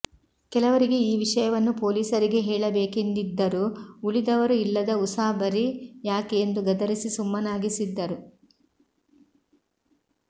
ಕೆಲವರಿಗೆ ಈ ವಿಷಯವನ್ನು ಪೊಲೀಸರಿಗೆ ಹೇಳಬೇಕೆಂದಿದ್ದರೂ ಉಳಿದವರು ಇಲ್ಲದ ಉಸಾಬರಿ ಯಾಕೆ ಎಂದು ಗದರಿಸಿ ಸುಮ್ಮನಾಗಿಸಿದ್ದರು